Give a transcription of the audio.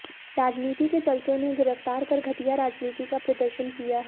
राजनीति के चलते उन्हें गिरफ्तार कर घटिया राजनीति का प्रदर्शन किया है